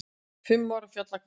Fimm ára fjallagarpur